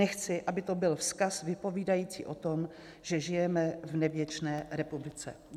Nechci, aby to byl vzkaz vypovídající o tom, že žijeme v nevděčné republice.